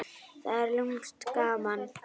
Það er lúmskt gaman.